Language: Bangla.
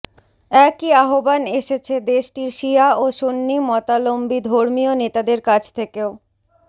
একই আহ্বান এসেছে দেশটির শিয়া ও সুন্নি মতাবলম্বী ধর্মীয় নেতাদের কাছ থেকেও